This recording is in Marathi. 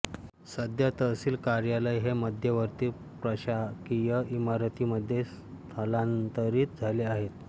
सध्या तहसील कार्यालय हे मध्यवर्ती प्रशाकीय इमारतीमध्ये स्थलांतरित झाले आहे